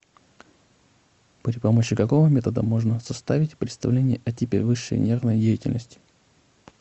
при помощи какого метода можно составить представление о типе высшей нервной деятельности